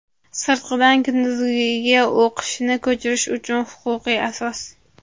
Sirtqidan kunduzgiga o‘qishni ko‘chirish uchun huquqiy asos.